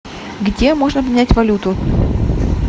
где можно обменять валюту